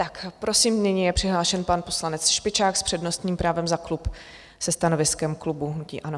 Tak prosím, nyní je přihlášen pan poslanec Špičák s přednostním právem za klub se stanoviskem klubu hnutí ANO.